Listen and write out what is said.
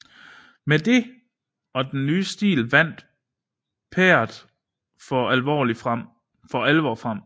Med det og den nye stil vandt Pärt for alvor frem